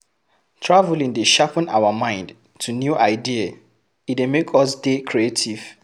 Traveling dey sharpen our mind to new idea, e dey make us dey creative